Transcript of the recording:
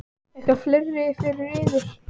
Eitthvað fleira fyrir yður?